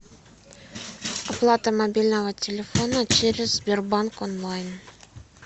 оплата мобильного телефона через сбербанк онлайн